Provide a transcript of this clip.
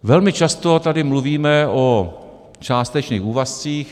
Velmi často tady mluvíme o částečných úvazcích.